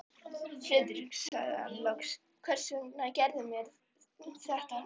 Friðrik sagði hann loks, hvers vegna gerðirðu mér þetta?